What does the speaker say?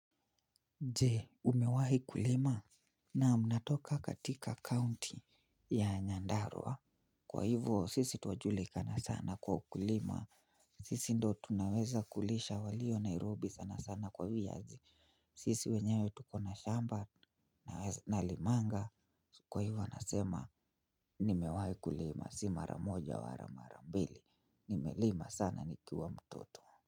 Je umewahi kulima naam natoka katika county ya nyandarua kwa hivyo sisi twajulikana sana kwa ukulima sisi ndo tunaweza kulisha walio nairobi sana sana kwa viazi sisi wenyewe tuko na shamba nalimanga kwa hivyo nasema nimewahi kulima si maramoja wala mara mbili nimelima sana nikiwa mtoto.